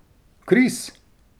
Kris!